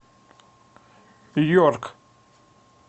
йорк